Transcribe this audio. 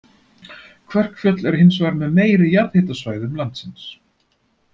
Kverkfjöll eru hins vegar með meiri jarðhitasvæðum landsins.